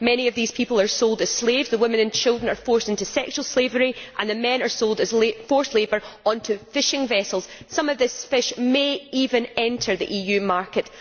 Many of these people are sold as slaves, the women and children are forced into sexual slavery and the men are sold as forced labour onto fishing vessels. Some of this fish may even enter the EU market.